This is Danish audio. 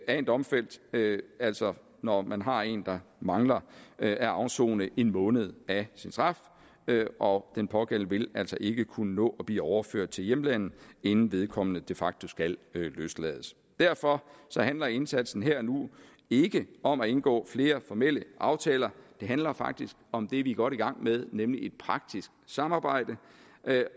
en domfældt altså når man har en der mangler at afsone en måned af sin straf og den pågældende vil altså ikke kunne nå at blive overført til hjemlandet inden vedkommende de facto skal løslades derfor handler indsatsen her og nu ikke om at indgå flere formelle aftaler det handler faktisk om det vi er godt i gang med nemlig et praktisk samarbejde